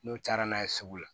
N'o cayara n'a ye sugu la